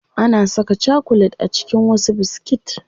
Ana saka chakulet a cikin wasu biskit.